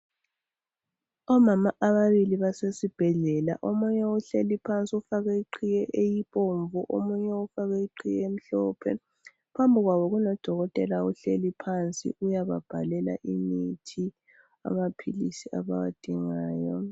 Omama ababili basesibhedlela omunye uhleli phansi ufake iqhiye eyibomvu omunye ufake iqhiye elimhlophe , phambili kwabo kulodolotela uhleli phansi uyababhalela imithi amaphilisi abawadingayo.